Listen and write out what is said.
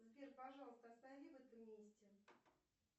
сбер пожалуйста останови в этом месте